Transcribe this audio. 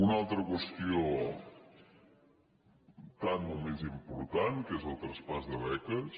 una altra qüestió tant o més important que és el tras·pàs de beques